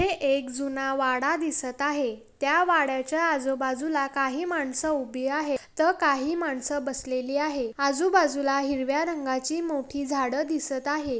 येथे एक जुना वाडा दिसत आहे त्या वाडाच्या आजूबाजूला काही माणस उभी आहेत तर काही माणस बसलेली आहे आजूबाजूला हिरव्या रंगाची मोठी झाडं दिसत आहे.